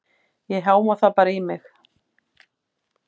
Ég háma það bara í mig.